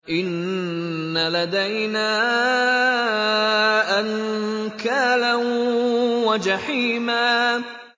إِنَّ لَدَيْنَا أَنكَالًا وَجَحِيمًا